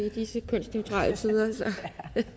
i disse kønsneutrale tider